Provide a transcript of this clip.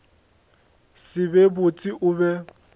se be botse o be